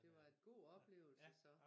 Det var en god oplevelse så